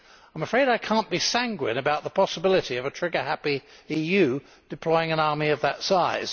I am afraid I cannot be sanguine about the possibility of a trigger happy EU deploying an army of that size.